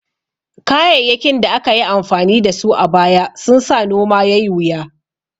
Kayayyakin da aka yi amfani da su a baya sun sa noma yai wuya